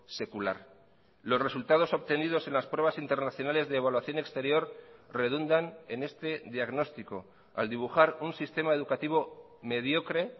secular los resultados obtenidos en las pruebas internacionales de evaluación exterior redundan en este diagnóstico al dibujar un sistema educativo mediocre